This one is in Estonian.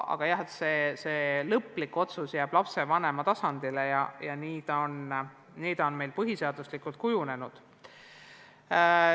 Aga jah, lõplik otsus jääb lapsevanema teha, nii on see meil põhiseaduslikult kujunenud.